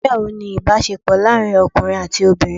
Ìgbéyàwó ni ìbásepò láàrin ọkùnrin àti obìnrin